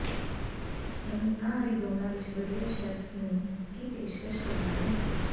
ਨਮੂਨਾ ਅਰੀਜ਼ੋਨਾ ਵਿੱਚ ਵਧੀਆ ਸ਼ੈੱਫਜ਼ ਨੂੰ ਕੀ ਪੇਸ਼ਕਸ਼ ਕਰਨਾ ਹੈ